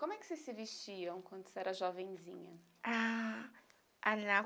Como é que vocês se vestiam quando você era jovenzinha? Ah.... a